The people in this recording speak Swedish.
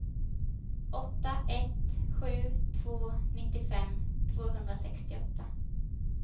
åtta ett sju två nittiofem tvåhundrasextioåtta